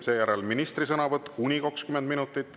Seejärel on ministri sõnavõtt kuni 20 minutit.